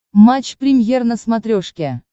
матч премьер на смотрешке